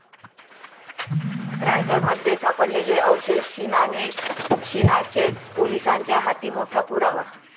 रायगडमध्ये सापडलेले अवशेष शीनाचेच, पोलिसांच्या हाती मोठा पुरावा